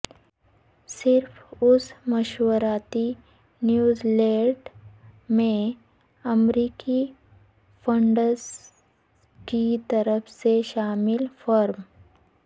صرف اس مشاورتی نیوز لیٹر میں امریکی فنڈز کی طرف سے شامل فرم